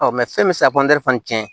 fɛn bɛ se ka tiɲɛ